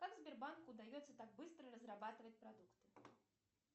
как сбербанку удается так быстро разрабатывать продукты